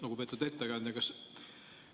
Lugupeetud ettekandja!